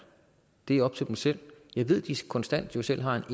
det er op til dem selv jeg ved de konstant selv har en